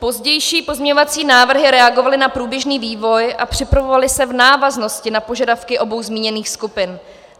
Pozdější pozměňovací návrhy reagovaly na průběžný vývoj a připravovaly se v návaznosti na požadavky obou zmíněných skupin.